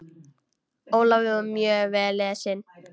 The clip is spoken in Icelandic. Ólafur var mjög vel lesinn.